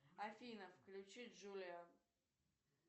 афина включи джулиан